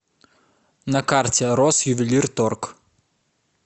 на карте россювелирторг